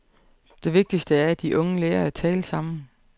Det vigtigste er, at de unge lærer at tale sammen.